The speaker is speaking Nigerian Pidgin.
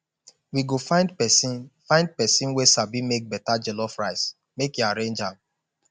we go find pesin find pesin wey sabi make beta jollof rice make e arrange am